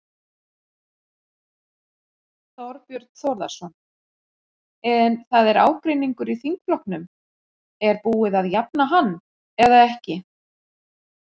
Þorbjörn Þórðarson: En það er ágreiningur í þingflokknum, er búið að jafna hann eða ekki?